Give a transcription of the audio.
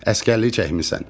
Əsgərlik çəkmisən.